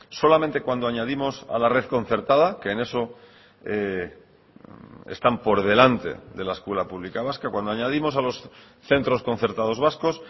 solamente cuando añadimos a la red concertada que en eso están por delante de la escuela pública vasca cuando añadimos a los centros concertados vascos